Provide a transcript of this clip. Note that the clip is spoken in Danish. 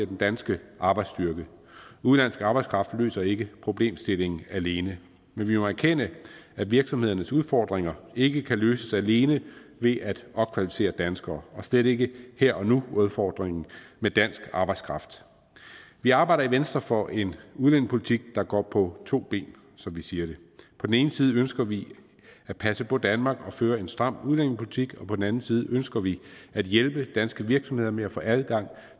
den danske arbejdsstyrke udenlandsk arbejdskraft løser ikke problemstillingen alene men vi må erkende at virksomhedernes udfordringer ikke kan løses alene ved at opkvalificere danskere og slet ikke her og nu udfordringen med dansk arbejdskraft vi arbejder i venstre for en udlændingepolitik der går på to ben som vi siger det på den ene side ønsker vi at passe på danmark og føre en stram udlændingepolitik og på den anden side ønsker vi at hjælpe danske virksomheder med at få adgang